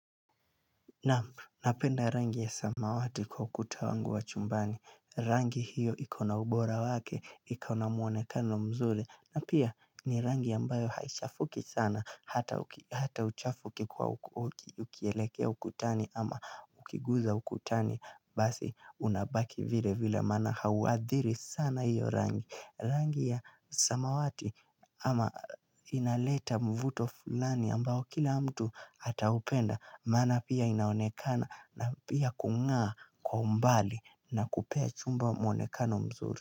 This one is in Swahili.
Naam napenda rangi ya samawati kwa ukuta wangu wa chumbani Rangi hiyo iko na ubora wake, iko na mwonekano mzuri na pia ni rangi ambayo haichafuki sana Hata uchafu ukikuwa ukieleke ukutani ama ukiguza ukutani Basi unabaki vile vile maana hauadhiri sana hiyo rangi Rangi ya samawati ama inaleta mvuto fulani ambao kila mtu ata upenda Maana pia inaonekana na pia kungaa kwa umbali na kupea chumba mwonekano mzuri.